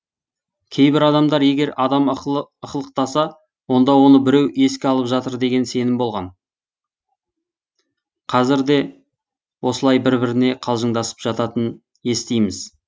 кейбір адамдар егер адам ықылықтаса онда оны біреу еске алып жатыр деген сенім болған қазірде осылай бір біріне қалжыңдасып жататынын естиміз